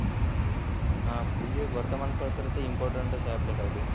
हां म्हणजे वर्तमानपत्र तर इम्पॉर्टन्टच आहे आपल्यासाठी.